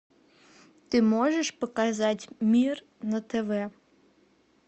ты можешь показать мир на тв